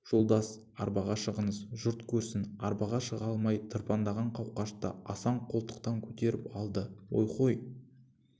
жолдас арбаға шығыңыз жұрт көрсін арбаға шыға алмай тырбаңдаған қауқашты асан қолтықтан көтеріп алды ойхой